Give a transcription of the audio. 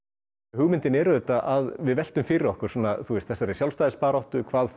hugmyndin er að við veltum fyrir okkur þessari sjálfstæðisbaráttu hvað